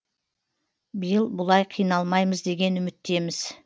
биыл бұлай қиналмаймыз деген үміттеміз